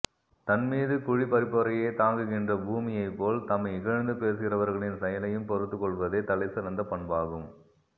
தன்மீது குழி பறிப்போரையே தாங்குகின்ற பூமிமைப் போல் தம்மை இகழ்ந்து பேசுகிறவர்களின் செயலையும் பொறுத்துக் கொள்வதே தலைசிறந்த பண்பாகும்